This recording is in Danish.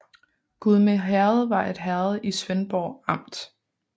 Gudme Herred var et herred i Svendborg Amt